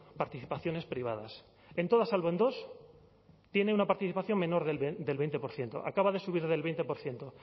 participaciones privadas en todas salvo en dos tiene una participación menor del veinte por ciento acaba de subir del veinte por ciento